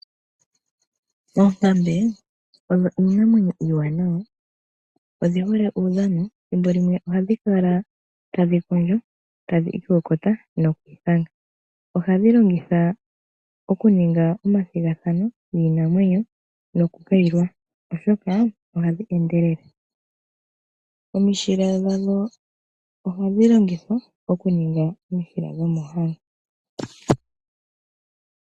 Oonkambe odho iinamwenyo uuwanawa. Odhi hole uudhano. Ethimbo limwe ohadhi kala tadhi kondjo tadhi ikokota noku ithanga. Ohadhi longithwa okuninga omathigathano giinamwenyo nokukayilwa, oshoka ohadhi endele. Omishila dhadho ohadhi longithwa okuningwa omishila dhomoohango.